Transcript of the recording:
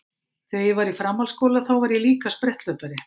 Þegar ég var í framhaldsskóla þá var ég líka spretthlaupari.